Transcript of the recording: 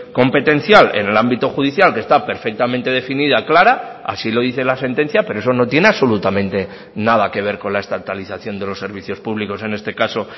competencial en el ámbito judicial que está perfectamente definida clara así lo dice la sentencia pero eso no tiene absolutamente nada que ver con la estatalización de los servicios públicos en este caso